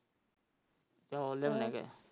ਚੋਲ ਲੈ ਆਉ ਨੇ।